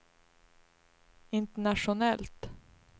internationellt